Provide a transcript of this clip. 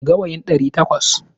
Gawayin ɗari takwas.